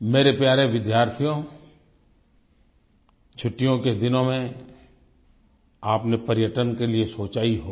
मेरे प्यारे विद्यार्थियो छुट्टियों के दिनों में आपने पर्यटन के लिए सोचा ही होगा